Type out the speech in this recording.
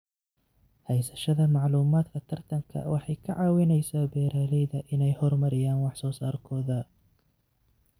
Haysashada macluumaadka tartanka waxay ka caawisaa beeralayda inay horumariyaan wax soo saarkooda.